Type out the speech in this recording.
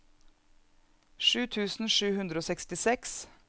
sju tusen sju hundre og sekstiseks